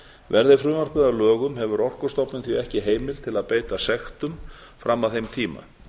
verði frumvarpið að lögum hefur orkustofnun því ekki heimild til að beita sektum fram að þeim tíma